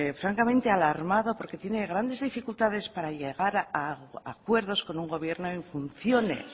francamente alarmado porque tiene grandes dificultades para llegar a acuerdos con un gobierno en funciones